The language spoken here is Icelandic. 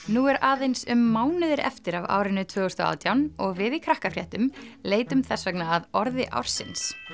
nú er aðeins um mánuður eftir af árinu tvö þúsund og átján og við í leitum þess vegna að orði ársins